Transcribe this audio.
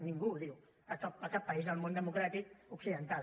ningú no ho diu a cap país del món democràtic occidental